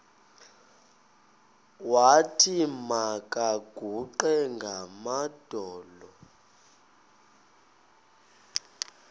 wathi makaguqe ngamadolo